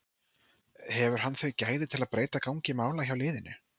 Hefur hann þau gæði til að breyta gangi mála hjá liðinu?